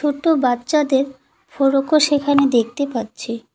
ছোটো বাচ্চাদের ফরোকো সেখানে দেখতে পাচ্ছি।